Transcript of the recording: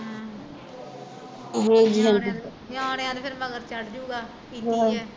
ਨਿਆਣਿਆ ਦੇ ਫਿਰ ਮਗਰ ਚੜ੍ਜੁਗਾ ਵੀ ਪੀਤੀ ਐ